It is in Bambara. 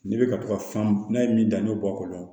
N'i bɛ ka to ka fan n'a ye min danni bɛ bɔ a kɔnɔ